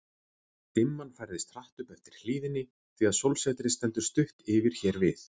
Dimman færðist hratt upp eftir hlíðinni, því að sólsetrið stendur stutt yfir hér við